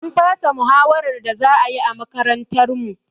An fasa muhawarar da za ayi a makarantar mu